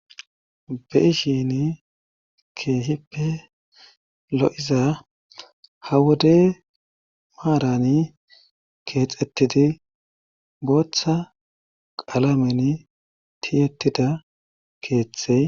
Be7ishin keehippe lo7iza ha wode maarani keexettidi booththa qalamen tiyettida keeththey.